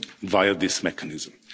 them via this mechanism.